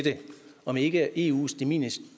om ikke eus de minimis